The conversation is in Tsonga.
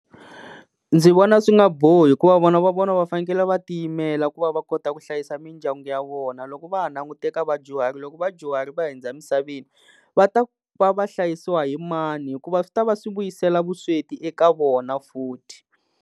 Ndzi vona swi nga bohi hikuva vona va vona va fanele va tiyimela ku va va kota ku hlayisa mindyangu ya vona, loko va ha langute eka vadyuhari loko vadyuhari va hundza emisaveni va ta ku va va hlayisiwa hi mani hikuva swi ta va swi vuyisela vusweti eka vona futhi.